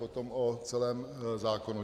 Potom o celém zákonu.